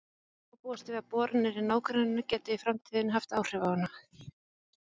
Þó má búast við að boranir í nágrenninu geti í framtíðinni haft áhrif á hana.